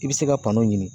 I bɛ se ka banaw ɲini